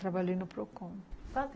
trabalhei no Procon.